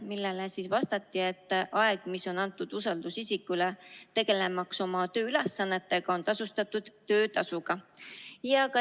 Sellele vastati, et aeg, mis on antud usaldusisikule oma tööülesannetega tegelemiseks, on tasustatud.